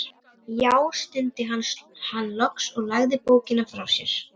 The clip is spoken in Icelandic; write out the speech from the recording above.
Já, stundi hann loks og lagði bókina frá sér.